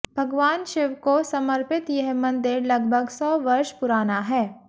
भगवान शिव को समर्पित यह मंदिर लगभग सौ वर्ष पुराना है